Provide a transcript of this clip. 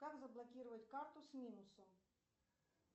как заблокировать карту с минусом